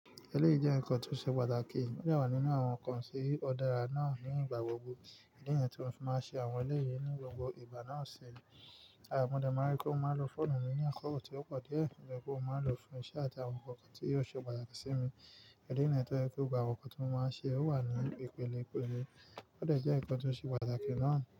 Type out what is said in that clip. Eléyìí jẹ́ nǹkan tí ó ṣe pàtàkì, ó dé wà nínú àwọn nǹkan tí ọ̀ dára náà ní ìgbà gbogbo. Ìdí nìyẹn tí mo fi máa n ṣe àwọn eléyìí ní gbogbo ìgbà náà ṣì. Mo dẹ̀ máa n rí pé mo máa n lo fóònù mi ní àkókò tí ó pọ̀ díẹ̀, nítorí wípé mó máa n lo fún iṣẹ́ àti àwọn nǹkan kan tí yóò ṣe pàtàkì sí mi. Ìdí nìyẹn tó jẹ́ wí pé gbogbo àwọn nǹkan tí mo máa n ṣe, ó wà ní ìpele ìpele. Ó dẹ̀ jẹ́ nǹkan tó ṣe pàtàkì náà.